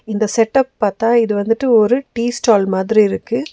இந்த செட்டப் பாத்தா இது வந்துட்டு ஒரு டீ ஸ்டால் மாதிரி இருக்கு.